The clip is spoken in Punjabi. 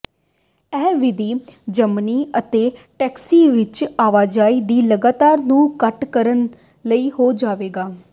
ਇਹ ਵਿਧੀ ਜਮਨੀ ਅਤੇ ਟੈਕਸੀ ਵਿੱਚ ਆਵਾਜਾਈ ਦੀ ਲਾਗਤ ਨੂੰ ਘੱਟ ਕਰਨ ਲਈ ਹੋ ਜਾਵੇਗਾ